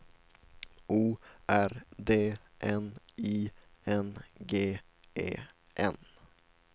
O R D N I N G E N